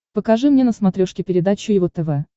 покажи мне на смотрешке передачу его тв